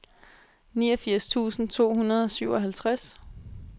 niogfirs tusind to hundrede og syvoghalvtreds